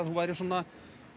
þú værir svona